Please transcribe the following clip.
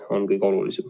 See on kõige olulisem.